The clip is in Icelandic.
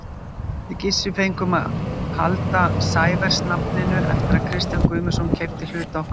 Við Gissur fengum að halda Sævers-nafninu eftir að Kristján Guðmundsson keypti hluti okkar í Tjaldinum.